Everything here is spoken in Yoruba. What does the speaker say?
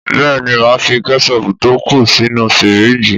Bẹ́ẹ̀ni máa fi Kẹ́sọpù to ku sínú fírìjì.